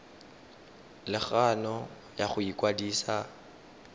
le kgano ya go ikwadisa